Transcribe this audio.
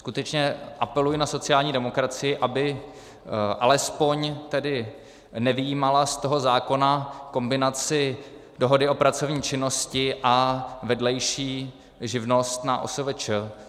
Skutečně apeluji na sociální demokracii, aby alespoň tedy nevyjímala z toho zákona kombinaci dohody o pracovní činnosti a vedlejší živnost na OSVČ.